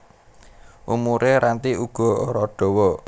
Umure Ranti uga ora dawa